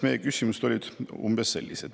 Meie küsimused on umbes sellised.